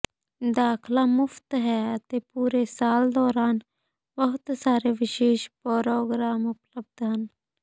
ਦਾਖਲਾ ਮੁਫ਼ਤ ਹੈ ਅਤੇ ਪੂਰੇ ਸਾਲ ਦੌਰਾਨ ਬਹੁਤ ਸਾਰੇ ਵਿਸ਼ੇਸ਼ ਪ੍ਰੋਗਰਾਮ ਉਪਲੱਬਧ ਹਨ